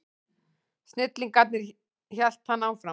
Snillingarnir, hélt hann áfram.